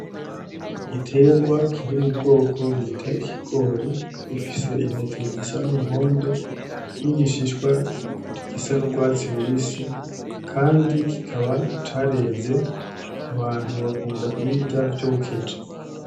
Igiterwa kiri m’ubwoko bita ikigori gifise intete zisa numuhondo n’igishishwa gisa n’urwatsi rubisi kandi kikaba careze abantu bakunda kubirya vyokeje.